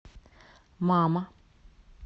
мама